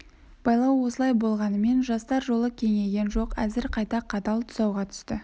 байлау осылай болғанмен жастар жолы кеңейген жоқ әзір қайта қатал тұсауға түсті